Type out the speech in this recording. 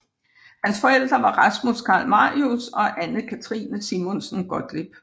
Hans forældre var Rasmus Carl Marius og Anne Cathrine Simonsen Gottlieb